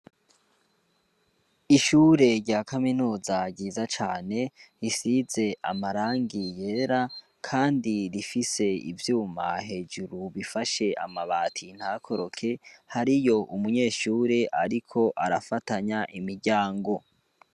Ishure rya kaminuza giza cane risize amarangi yera, kandi rifise ivyuma hejuru bifashe amabati ntakoroke hari yo umunyeshure, ariko arafatanya imiryango.